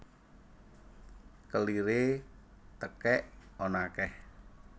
Keliré tekèk ana akèh